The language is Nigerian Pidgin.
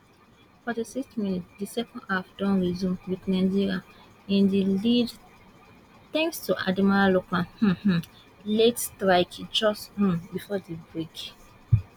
forty six minutes di second half don resume wit nigeria in di lead thanks to ademola lookman um um late strike just um before di break